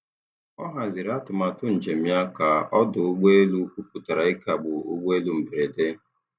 Ọ haziri atụmatụ njem ya ka ọdụ ụgbọ elu kwuputara ịkagbu ụgbọ elu mberede.